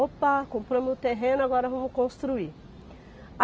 Opa, comprou meu terreno, agora vamos construir.